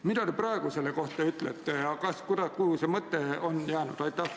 " Mida te praegu selle kohta ütlete ja kuhu see mõte on jäänud?